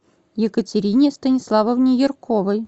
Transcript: екатерине станиславовне ярковой